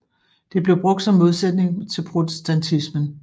Det blev brugt som modsætning til protestantismen